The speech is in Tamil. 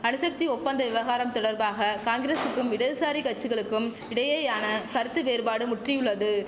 அணுசக்தி ஒப்பந்த விவகாரம் தொடர்பாக காங்கிரசுக்கும் இடதுசாரி கச்சிகளுக்கும் இடையேயான கருத்து வேறுபாடு முற்றியுள்ளது